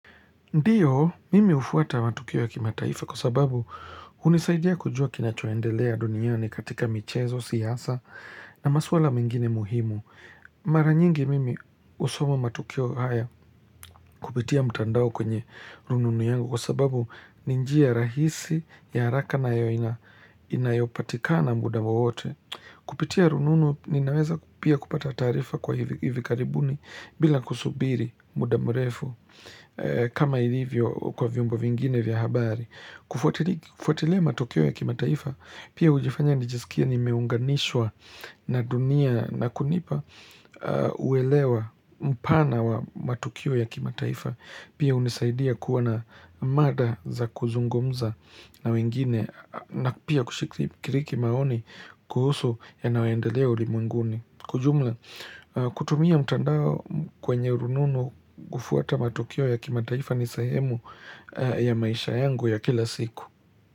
Ndio, mimi hufuata matukio ya kimataifa kwa sababu hunisaidia kujua kinachoendelea duniani katika michezo, siasa, na maswala mingine muhimu. Mara nyingi mimi husoma matukio haya kupitia mtandao kwenye rununu yangu kwa sababu ni njia rahisi, ya haraka na inayopatikana muda wowote. Kupitia rununu ninaweza pia kupata taarifa kwa hivi karibuni bila kusubiri muda mrefu kama hivyo kwa vyombo vingine vya habari. Kufuatilia matukio ya kimataifa pia hunifanya nijisikie nimeunganishwa na dunia na kunipa uelewa mpana wa matukio ya kimataifa. Pia hunisaidia kuwa na mada za kuzungumza na wengine na pia kushiriki maoni kuhusu yanayoendelea ulimwenguni. Kwa jumla, kutumia mtandao kwenye rununu kufuata matukio ya kimataifa ni sehemu ya maisha yangu ya kila siku.